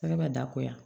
Ala ka da ko ya